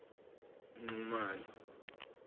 nxumalo